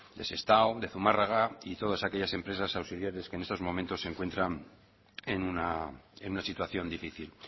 de sestao de zumárraga y todas aquellas empresas auxiliares que en estos momentos se encuentran en una situación difícil